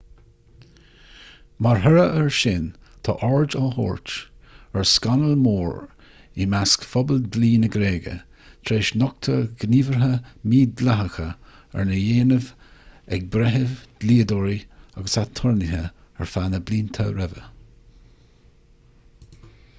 mar thoradh air sin tá aird á tabhairt ar scannal mór i measc phobal dlí na gréige tar éis nochtadh gníomhartha mídhleathacha arna ndéanamh ag breithimh dlíodóirí agus aturnaetha ar feadh na blianta roimhe